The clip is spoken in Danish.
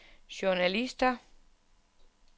journalister